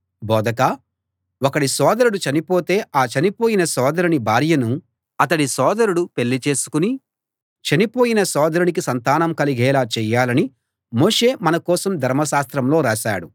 బోధకా ఒకడి సోదరుడు చనిపోతే ఆ చనిపోయిన సోదరుని భార్యను అతడి సోదరుడు పెళ్ళి చేసుకుని చనిపోయిన సోదరునికి సంతానం కలిగేలా చెయ్యాలని మోషే మనకోసం ధర్మశాస్త్రంలో రాశాడు